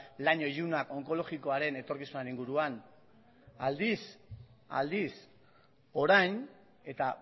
lan ilunak onkologikoaren etorkizunaren inguruan aldiz orain eta